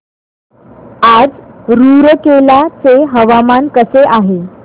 आज रूरकेला चे हवामान कसे आहे